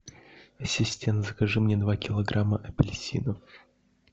ассистент закажи мне два килограмма апельсинов